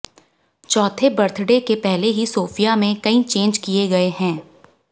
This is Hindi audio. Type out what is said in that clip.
चौथे बर्थडे के पहले ही सोफिया में कई चेंज किए गए हैं